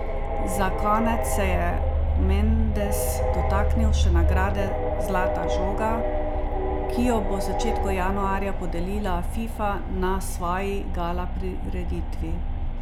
Za konec se je Mendes dotaknil še nagrade zlata žoga, ki jo bo v začetku januarja podelila Fifa na svoji gala prireditvi.